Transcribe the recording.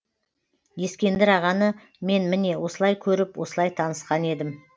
ескендір ағаны мен міне осылай көріп осылай танысқан едім